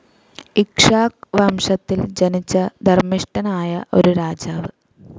ഇക്ഷ്വാക് വംശത്തിൽ ജനിച്ച ധർമ്മിഷ്ഠനായ ഒരു രാജാവ്.